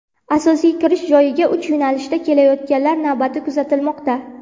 Asosiy kirish joyiga uch yo‘nalishda kelayotganlar navbati kuzatilmoqda.